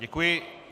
Děkuji.